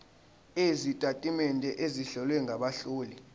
sezitatimende ezihlowe ngabahloli